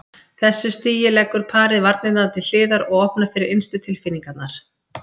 þessu stigi leggur parið varnirnar til hliðar og opnar fyrir innstu tilfinningarnar.